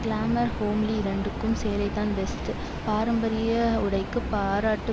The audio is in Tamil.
கிளாமர் ஹோம்லி இரண்டுக்கும் சேலைதான் பெஸ்ட் பாரம்பரிய உடைக்கு பாராட்டு